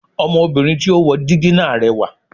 Ọmọ obìnrin tí ó wo dígí náà rẹwà